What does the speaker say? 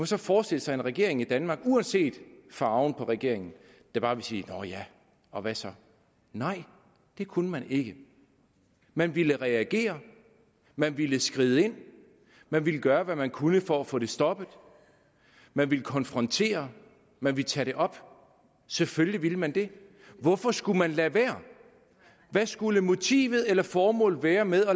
så forestille sig en regering i danmark uanset farven på regeringen der bare ville sige nå ja og hvad så nej det kunne man ikke man ville reagere man ville skride ind man ville gøre hvad man kunne for at få det stoppet man ville konfrontere man ville tage det op selvfølgelig ville man det hvorfor skulle man lade være hvad skulle motivet eller formålet være med at